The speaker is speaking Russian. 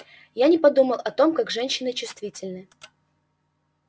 я не подумал о том как женщины чувствительны